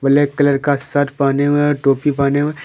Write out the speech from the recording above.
Black colour का shirt पहने हुए है और टोपी पहने हुए है।